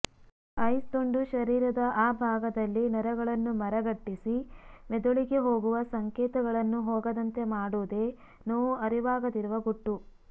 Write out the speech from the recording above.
ice ತುಂಡು ಶರೀರದ ಆ ಭಾಗದಲ್ಲಿ ನರಗಳನ್ನು ಮರಗಟ್ಟಿಸಿ ಮೆದುಳಿಗೆ ಹೋಗುವ ಸಂಕೇತಗಳನ್ನು ಹೋಗದಂತೆ ಮಾಡುವುದೇ ನೋವು ಅರಿವಾಗದಿರುವ ಗುಟ್ಟು